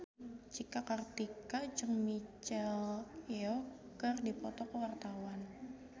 Cika Kartika jeung Michelle Yeoh keur dipoto ku wartawan